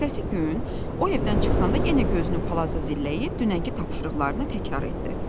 Ertəsi gün o evdən çıxanda yenə gözünü palaza zilləyib dünənki tapşırıqlarını təkrar etdi.